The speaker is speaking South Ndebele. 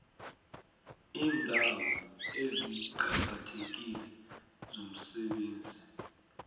iindawo eziqakathekile zomsebenzi